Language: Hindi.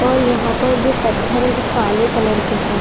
और यहाँ जो पत्थर है वो काले कलर के है।